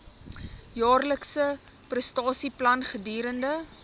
jaarlikse prestasieplan gedurende